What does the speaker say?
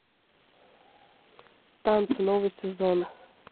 танцы новый сезон